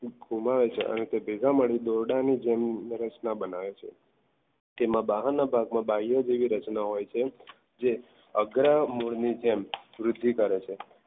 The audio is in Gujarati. અને તે ભેગા મળીને દોરડા ની જેમ રચના બનાવે છે તેમાં બહારના ભાગમાં ગ્રાહ્ય જેવી રચના હોય છે જે અગ્ર મુળની જેમ વૃદ્ધિ કરે છે.